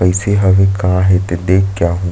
कइसे हवे का हे तेन देख के आये--